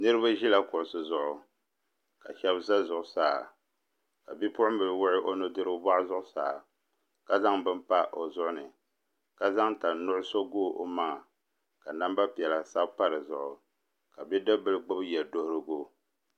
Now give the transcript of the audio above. Niraba ʒila kuɣusi zuɣu ka shab ʒɛ zuɣusaa ka bipuɣunbili wuɣi o nudirigu boɣu zuɣusaa ka zaŋ bini pa o zuɣuni ka zaŋ tani nuɣso bob o maŋa ka namba piɛla sabi pa dizuɣu ka bidib bili gbubi yɛ duɣurigu